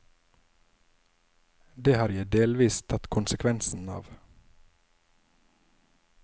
Det har jeg delvis tatt konsekvensen av.